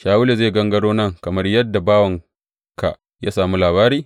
Shawulu zai gangaro nan kamar yadda bawanka ya sami labari?